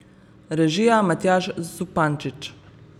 Režija Matjaž Zupančič.